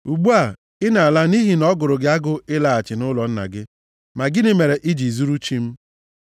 Ugbu a, ị na-ala nʼihi na ọ gụrụ gị agụụ ịlaghachi nʼụlọ nna gị, ma gịnị mere i ji zuru chi m?”